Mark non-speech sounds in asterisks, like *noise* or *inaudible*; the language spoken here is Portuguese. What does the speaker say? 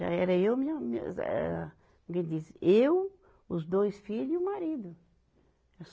Já era eu, minha, minhas era, *unintelligible* eu, os dois filho e o marido.